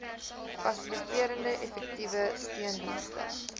fasiliterende effektiewe steundienste